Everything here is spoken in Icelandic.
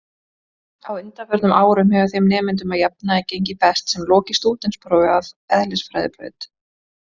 Á undanförnum árum hefur þeim nemendum að jafnaði gengið best sem lokið stúdentsprófi af eðlisfræðibraut.